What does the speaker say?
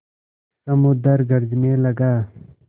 समुद्र गरजने लगा